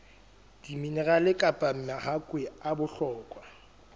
diminerale kapa mahakwe a bohlokwa